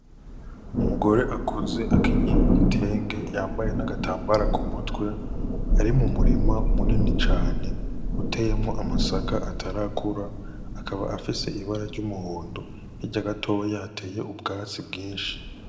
Umugore akuze akenyeye igitenge yambaye n' agatambara kumutwe ari mu murima munini cane uteyemwo amasaka atarakura akaba afise ibara ry'umuhondo hirya gatoya hateye ubwatsi bwinshi.